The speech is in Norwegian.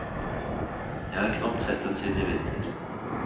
Jeg har knapt sett dem siden i vinter.